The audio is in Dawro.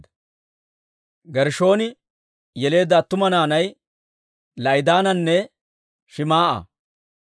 Gershshooni yeleedda attuma naanay La'idaananne Shim"a.